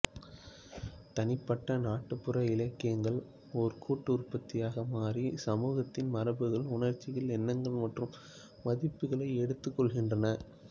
தனிப்பட்ட நாட்டுப்புற இலக்கியங்கள் ஒரு கூட்டு உற்பத்தியாக மாறி சமூகத்தின் மரபுகள் உணர்ச்சிகள் எண்ணங்கள் மற்றும் மதிப்புகளை எடுத்துக்கொள்கின்றன